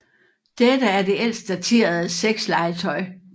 Dette er det ældst daterede sexlegetøj